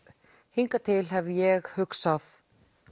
hingað til hef ég hugsað